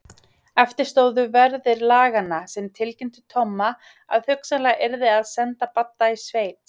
Eftir stóðu verðir laganna sem tilkynntu Tomma að hugsanlega yrði að senda Badda í sveit.